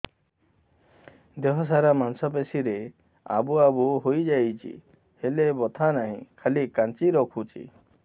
ଦେହ ସାରା ମାଂସ ପେଷି ରେ ଆବୁ ଆବୁ ହୋଇଯାଇଛି ହେଲେ ବଥା ନାହିଁ ଖାଲି କାଞ୍ଚି ରଖୁଛି